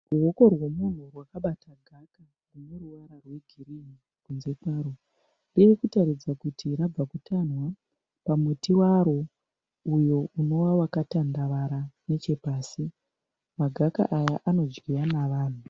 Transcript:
Ruoko rwemunhu rwakabata gaka rwune ruvara rwegirini kunze kwarwo, ririkuratidza kuti rabva kutamhwa pamuti waro uyo unova wakatandavara nechepasi. Magaka aya anodyiwa nevanhu.